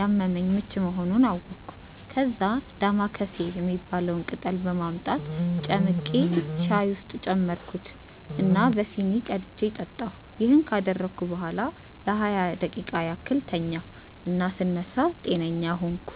ያመመኝ ምች መሆኑን አወቅኩ። ከዛ "ዳማከሴ" የሚባለውን ቅጠል በማምጣት ጨምቄ ሻይ ውስጥ ጨመርኩት እና በሲኒ ቀድቼ ጠጣሁ። ይሄን ካደረግኩ በኋላ ለሃያ ደቂቃ ያህል ተኛሁ እና ስነሳ ጤነኛ ሆንኩ።